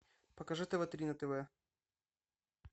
покажи тв три на тв